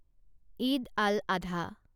ঈদ আল আধা